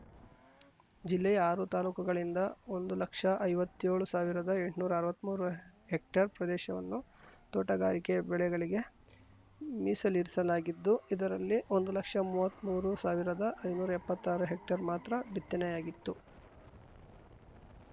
ಜಿಲ್ಲೆಯ ಆರು ತಾಲೂಕುಗಳಿಂದ ಒಂದು ಲಕ್ಷಐವತ್ತೇಳು ಸಾವಿರದಎಂಟ್ನೂರಾ ಅರ್ವತ್ಮೂರು ಹೆಕ್ಟೇರ್‌ ಪ್ರದೇಶವನ್ನು ತೋಟಗಾರಿಕೆ ಬೆಳೆಗಳಿಗೆ ಮೀಸಲಿರಿಸಲಾಗಿದ್ದು ಇದರಲ್ಲಿ ಒಂದು ಲಕ್ಷಮುವತ್ಮೂರು ಸಾವಿರದಐನೂರಾ ಎಪ್ಪತ್ತಾರು ಹೆಕ್ಟೇರ್‌ ಮಾತ್ರ ಬಿತ್ತನೆಯಾಗಿತ್ತು